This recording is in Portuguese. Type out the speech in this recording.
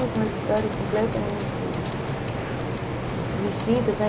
Com umas histórias completamente distintas, né?